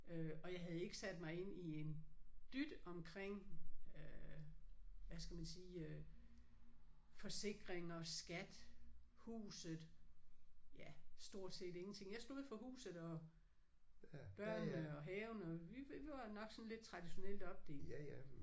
Øh og jeg havde ikke sat mig ind i en dyt omkring øh hvad skal man sige øh forsikring og skat huset ja stort set ingenting. Jeg stod for huset og børnene og haven øh vi var nok sådan lidt traditionelt opdelt